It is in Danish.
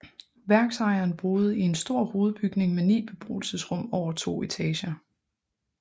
Værksejeren boede i en stor hovedbygning med 9 beboelsesrum over to etager